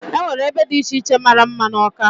Enwere ebe dị iche iche mara mma n'Awka.